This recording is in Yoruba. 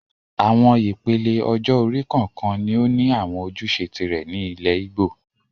Àwọn ìpele ọjọ́-orí kọ̀ọ̀kan ni ó ní àwọn ojúṣe tìrẹ ní ilẹ̀ Ìgbò